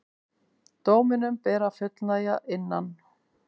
Dóminum ber að fullnægja innan